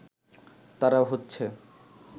তারা হচ্ছে